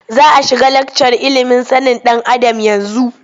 Za a shiga lakcar ilimin sanin ɗan Adam yanzu.